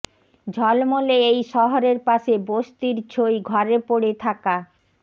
ঝলমলে এই শহরের পাশে বস্তির ছই ঘরে পড়ে থাকা